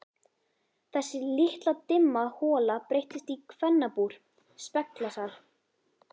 Þessi litla dimma hola breyttist í kvennabúr, speglasal.